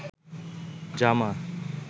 জামা